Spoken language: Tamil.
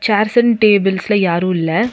சேர்ஸ் அண்ட் டேபிள்ஸ்ல யாரும் இல்ல.